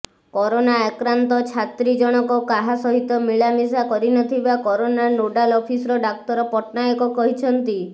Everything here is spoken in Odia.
କରୋନା ଆକ୍ରାନ୍ତ ଛାତ୍ରୀ ଜଣକ କାହା ସହିତ ମିଳାମିଶା କରିନଥିବା କରୋନା ନୋଡାଲ୍ ଅଫିସର ଡାକ୍ତର ପଟ୍ଟନାୟକ କହିଛନ୍ତି